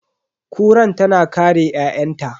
Kuran tana kare ƴa'ƴanta.